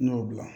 N y'o bila